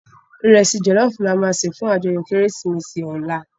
Irèsi jòlòfú làmá sé fún àjòyò Kérésimési òlá